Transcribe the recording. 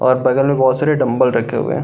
और बगल में भोत सारे डंबल रखे हुए हैं।